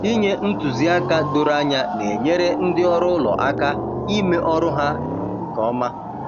Inye ntụziaka doro anya na-enyere ndị ọrụ ụlọ aka ime ọrụ ha nke ọma.